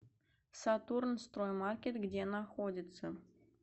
сатурнстроймаркет где находится